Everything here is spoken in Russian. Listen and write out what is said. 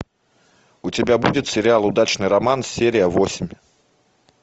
у тебя будет сериал удачный роман серия восемь